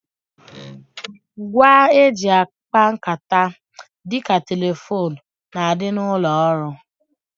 Ngwa e ji akpa nkata dịka telefone n'adi n'ụlọ ọrụ